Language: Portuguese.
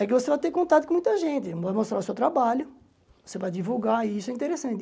É que você vai ter contato com muita gente, vai mostrar o seu trabalho, você vai divulgar, e isso é interessante.